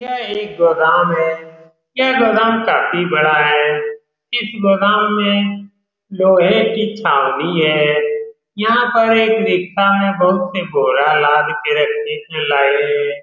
यह गोदाम है। यह गोदाम काफी बड़ा है। इस गोदाम में लोहे की छाल भी है। यहाँ पर बोरा लाद के रखे थे लाए ।